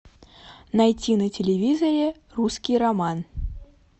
найти на телевизоре русский роман